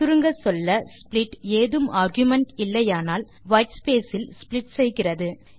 சுருங்கச்சொல்ல ஸ்ப்ளிட் ஏதும் ஆர்குமென்ட் இல்லையானால் வைட்ஸ்பேஸ் இல் ஸ்ப்ளிட் செய்கிறது